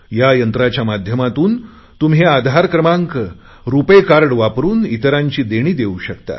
या यंत्राच्या माध्यमातून तुम्ही आधार क्रमांक रुपे कार्ड वापरुन इतरांची देणी देऊ शकता